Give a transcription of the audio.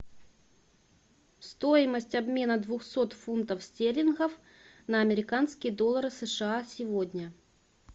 стоимость обмена двухсот фунтов стерлингов на американские доллары сша сегодня